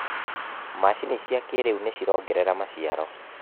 Macini cia kĩrĩũ nĩcirongerera maciaro.